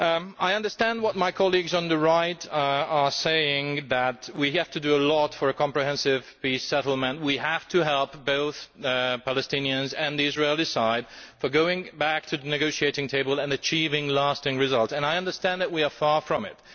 I understand what my colleagues on the Right are saying that we have to do a lot for a comprehensive peace settlement, we have to help both the Palestinians and the Israeli side in regard to going back to the negotiating table and achieving a lasting result, and I understand that we are far from it.